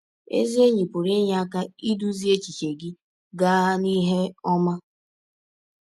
Ezi enyi pụrụ inye aka idụzị echiche gị gaa n’ihe ọma.